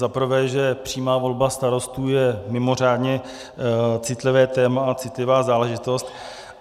Za prvé, že přímá volba starostů je mimořádně citlivé téma a citlivá záležitost.